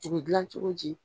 U bi gilan cogo di ?